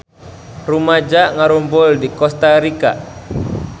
Rumaja ngarumpul di Kosta Rika